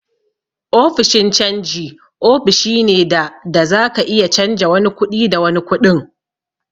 Ofishin canji ofishi ne da da zaka iya canja wani kuɗi da wani kuɗin.